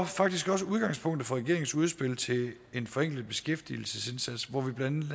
faktisk også udgangspunktet for regeringens udspil til en forenklet beskæftigelsesindsats hvor vi blandt